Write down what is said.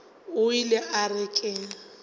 o ile a re ke